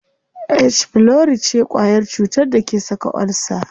H pylori ce kwayar cutar da ke saka ulcer.